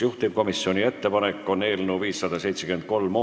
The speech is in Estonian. Juhtivkomisjoni ettepanek on eelnõu 573 esimene lugemine lõpetada.